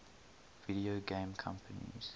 video game companies